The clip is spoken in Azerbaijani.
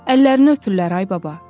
Əllərini öpürlər, ay baba.